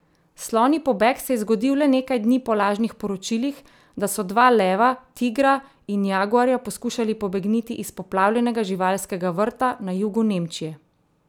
Slonji pobeg se je zgodil le nekaj dni po lažnih poročilih, da so dva leva, tigra in jaguarja poskušali pobegniti iz poplavljenega živalskega vrta na jugu Nemčije.